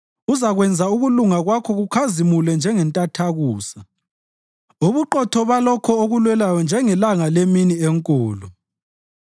Uzakwenza ukulunga kwakho kukhazimule njengentathakusa, ubuqotho balokho okulwelayo njengelanga lemini enkulu.